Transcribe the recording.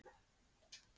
Hvernig var upplifunin?